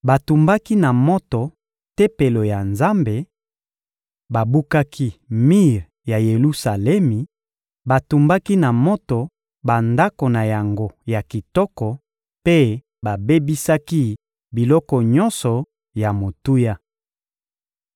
Batumbaki na moto Tempelo ya Nzambe, babukaki mir ya Yelusalemi, batumbaki na moto bandako na yango ya kitoko mpe babebisaki biloko nyonso ya motuya.